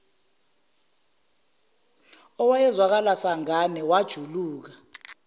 owayezwakala sangane wajuluka